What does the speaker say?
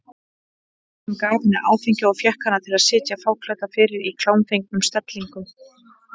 Hann gaf henni áfengi og fékk hana til að sitja fáklædda fyrir í klámfengnum stellingum.